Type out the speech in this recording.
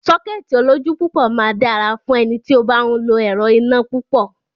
Sọ́kẹ́ẹ̀tì olójú púpọ̀ máa dára fún ẹni tí ó bá ń lo ẹrọ̀ iná púpọ̀.